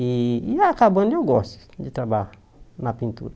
E e acabando, eu gosto de trabalhar na pintura.